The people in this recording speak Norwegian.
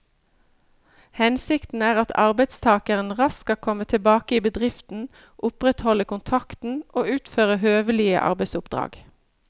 Hensikten er at arbeidstakeren raskt skal komme tilbake i bedriften, opprettholde kontakten og utføre høvelige arbeidsoppdrag.